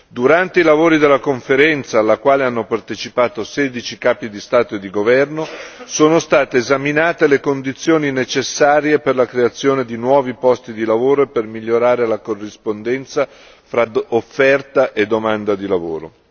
Durante i lavori della Conferenza, alla quale hanno partecipato 16 capi di Stato e di governo, sono state esaminate le condizioni necessarie per la creazione di nuovi posti di lavoro e per migliorare la corrispondenza fra offerta e domanda di lavoro.